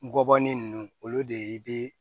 Ngɔbɔnin ninnu olu de be